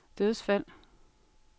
dødsfald